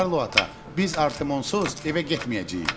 Karlo ata, biz Artemonsuz evə getməyəcəyik.